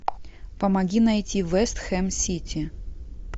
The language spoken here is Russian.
помоги найти вест хэм сити